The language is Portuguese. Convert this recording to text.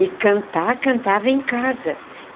E cantar, cantava em casa.